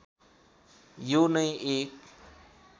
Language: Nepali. यो नै एक